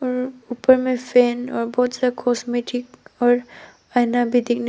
और ऊपर में फैन और बहोत सारा कॉस्मेटिक्स और आईना भी दिख--